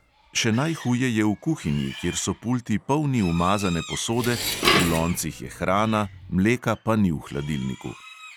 Še najhuje je v kuhinji, kjer so pulti polni umazane posode, v loncih je hrana, mleka pa ni v hladilniku.